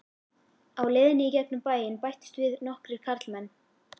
Á leiðinni í gegnum bæinn bættust við nokkrir karlmenn.